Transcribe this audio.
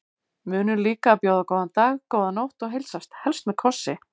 Munum líka að bjóða góðan dag, góða nótt og heilsast, helst með kossi.